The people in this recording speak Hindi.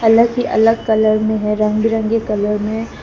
अलग से अलग कलर में है रंग बिरंगी कलर में--